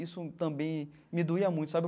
Isso também me doía muito, sabe?